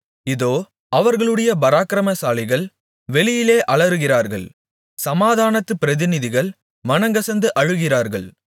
இதோ அவர்களுடைய பராக்கிரமசாலிகள் வெளியிலே அலறுகிறார்கள் சமாதானத்து பிரதிநிதிகள் மனங்கசந்து அழுகிறார்கள்